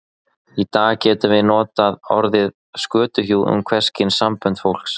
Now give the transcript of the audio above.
Í dag getum við notað orðið skötuhjú um hvers kyns sambönd fólks.